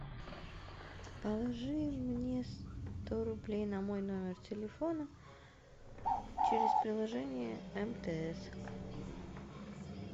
положи мне сто рублей на мой номер телефона через приложение мтс